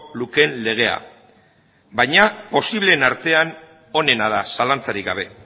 lukeen legea baina posibleen artean onena da zalantzarik gabe